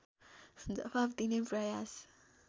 जवाफ दिने प्रयास